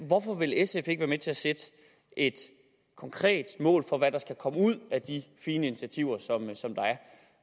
hvorfor vil sf ikke være med til at sætte et konkret mål for hvad der skal komme ud af de fine initiativer